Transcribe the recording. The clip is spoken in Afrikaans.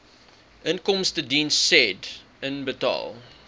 inkomstediens said inbetaal